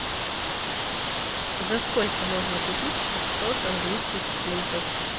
за сколько можно купить шестьсот английских фунтов